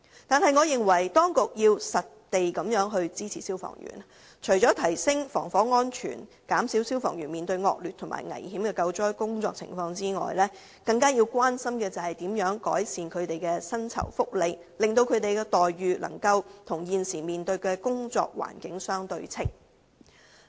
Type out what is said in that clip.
然而，我認為當局要切實支持消防員，除了提升防火安全，以減少消防員須面對的惡劣及危險的救災情況外，更要關心如何改善他們的薪酬福利，好讓他們的待遇與現時面對的工作環境相對稱。